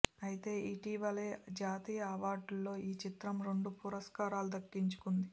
ఐతే ఇటీవలే జాతీయ అవార్డుల్లో ఈ చిత్రం రెండు పురస్కారాలు దక్కించుకుంది